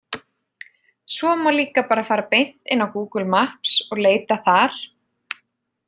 Svo má líka fara bara beint inn á Google maps og leita þar.